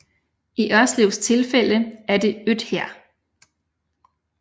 I Ørslevs tilfælde er det Øthær